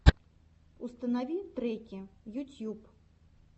установи треки ютьюб